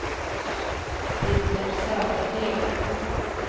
Rikard Södergren